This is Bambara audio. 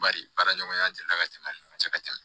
Bari baaraɲɔgɔnya delila ka tɛmɛ an ni ɲɔgɔn cɛ ka tɛmɛ